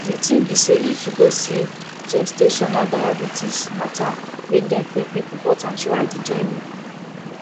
the tin be say if you see gestational diabetes matter make dem qik qik report am throughout the journey